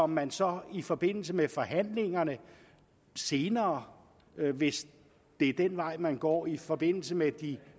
man så i forbindelse med forhandlingerne senere hvis det er den vej man går i forbindelse med de